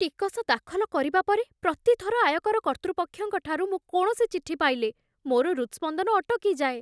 ଟିକସ ଦାଖଲ କରିବା ପରେ, ପ୍ରତି ଥର ଆୟକର କର୍ତ୍ତୃପକ୍ଷଙ୍କ ଠାରୁ ମୁଁ କୌଣସି ଚିଠି ପାଇଲେ ମୋର ହୃତସ୍ପନ୍ଦନ ଅଟକି ଯାଏ।